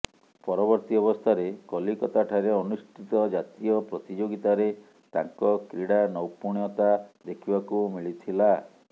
ପରବର୍ତୀ ଅବସ୍ଥାରେ କଲିକତାଠାରେ ଅନୁଷ୍ଠିତ ଜାତୀୟ ପ୍ରତିଯୋଗିତାରେ ତାଙ୍କ କ୍ରୀଡ଼ା ନୈପୁଣତା ଦେଖିବାକୁ ମିଳିଥିଲା